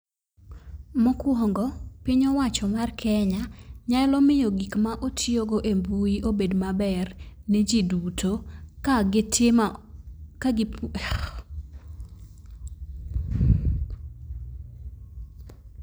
Mokwongo piny owacho mar kenya nyalo miyo gik ma otiyogo e mbui obed maber ne jii duto ka gitimo ka gi